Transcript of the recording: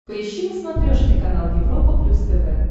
поищи на смотрешке канал европа плюс тв